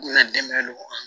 Ne dɛmɛ don